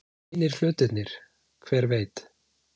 Hinir hlutirnir. hver veit?